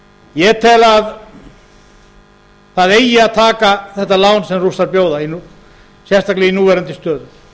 ég tel að það eigi að taka þetta lán sem rússar bjóða sérstaklega í núverandi stöðu